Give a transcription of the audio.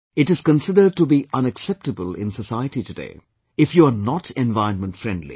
It is considered to be unacceptable in society today, of you are not environment friendly